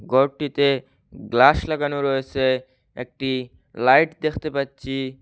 ঘরটিতে গ্লাস লাগানো রয়েসে একটি লাইট দেখতে পাচ্ছি।